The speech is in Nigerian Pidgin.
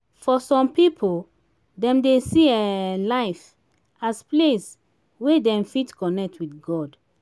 for some pipo dem dey see um life as place wey dem fit connect with god